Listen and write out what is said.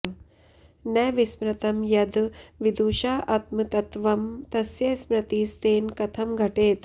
न विस्मृतं यद् विदुषाऽऽत्मतत्त्वं तस्य स्मृतिस्तेन कथं घटेत